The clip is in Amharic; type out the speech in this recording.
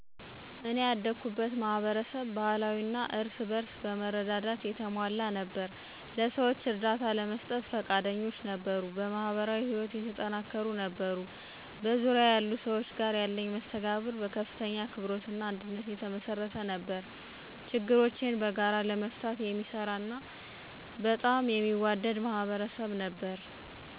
እኔ ያደኩበት ማህበረሰብ ባህላዊ እና እርስ በእርስ በመረዳዳት የተሞላ ነበር። ለሰዎች እርዳታ ለመስጠት ፈቃደኞች ነበሩ፣ በማህበራዊ ህይወት የተጠናከሩ ነበሩ። በዙሪያዬ ያሉ ሰዎች ጋር ያለኝ መስተጋብር በከፍተኛ አክብሮት እና አንድነት የተመሰረተ ነበር፤ ችግሮችን በጋራ ለመፍታት የሚሰራ እና በጣም የሚዋደድ ማህበረሰብ ነበር።